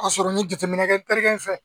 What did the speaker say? Ka sɔrɔ n ye jateminɛ kɛ terikɛ in fɛ